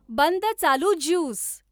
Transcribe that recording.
बंद चालू ज्यूस